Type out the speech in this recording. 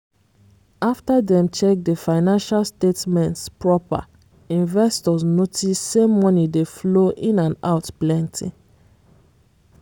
after dem check the financial statements proper investors notice say money dey flow in and out plenty.